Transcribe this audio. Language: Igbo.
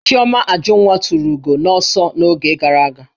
Chioma Ajunwa tụrụ ugo n'ọsọ n'oge gara aga